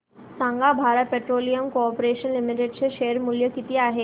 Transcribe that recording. सांगा Bharat Petroleum Corporation Limited चे share मूल्य किती आहे